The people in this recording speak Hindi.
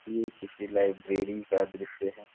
ये किसी लाइब्रेरी का दृश्य है।